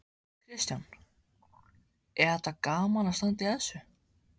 Kristján: Er þetta gaman að standa í þessu?